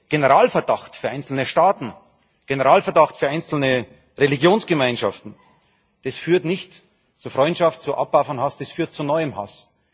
Generalverdacht für einzelne Staaten, Generalverdacht für einzelne Religionsgemeinschaften Das führt nicht zu Freundschaft und zu Abbau von Hass, das führt zu neuem Hass.